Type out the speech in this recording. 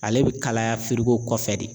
Ale bɛ kalaya kɔfɛ de